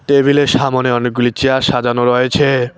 টেবিলের সামোনে অনেকগুলি চেয়ার সাজানো রয়েছে।